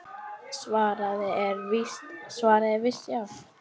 Svarið er víst já.